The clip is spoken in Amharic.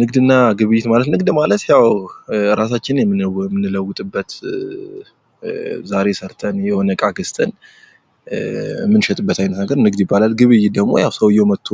ንግድ እና ግብይት ማለት ንግድ ማለት ራሳችንን የምንለዉጥበት ዛሬ ሰርተን የሆነ እቃ ገዝተን የምንሸጥበት አይነት ነገር ንግድ ይባላል። ግብይት ደግሞ ሰዉየው መጦ